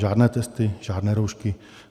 Žádné testy, žádné roušky.